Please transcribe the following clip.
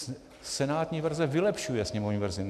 Senátní verze vylepšuje sněmovní verzi.